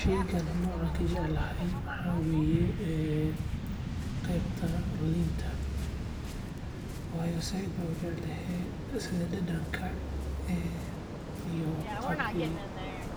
Sheygani nooca aan kujeclahay waxaa waye qebta liinka sida